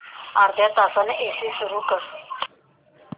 अर्ध्या तासाने एसी सुरू कर